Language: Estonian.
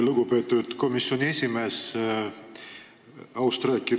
Lugupeetud komisjoni esimees!